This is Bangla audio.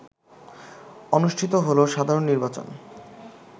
অনুষ্ঠিত হল সাধারণ নির্বাচন